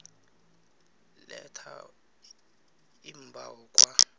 letha iimbawo kwa